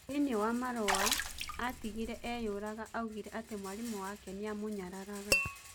Thĩini wa marua atigire ĩyũraga augire atĩ mwarimũ wake nĩamunyararaga